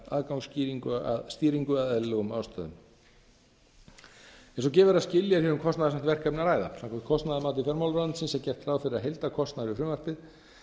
aðgangsstýringu af eðlilegum ástæðum eins og gefur að skilja er hér um kostnaðarsamt verkefni að ræða samkvæmt kostnaðarmati fjármálaráðuneytisins er gert ráð fyrir að heildarkostnaður við frumvarpið